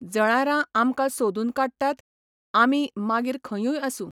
जळारां आमकां सोदून काडटात, आमी मागीर खंयूय आसूं.